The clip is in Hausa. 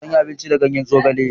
Zanyi abinci da ganyen zogale.